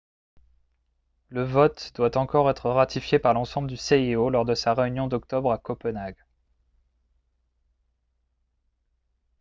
le vote doit encore être ratifié par l'ensemble du cio lors de sa réunion d'octobre à copenhague